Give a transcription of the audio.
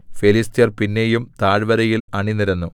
ഫെലിസ്ത്യർ പിന്നെയും താഴ്വരയിൽ അണിനിരന്നു